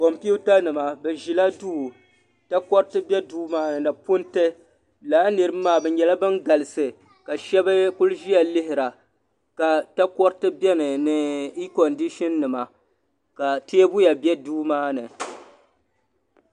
kompita nima bɛ ʒila duu takoriti be duu maani ni punti lala niriba maa bɛ nyɛla ban galisi ka sheba kuli ʒia lihira ka takoriti biɛni ni ikondisa nima ka teebuya be duu maa ni.